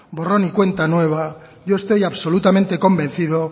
borrón y cuenta nueva yo estoy absolutamente convencido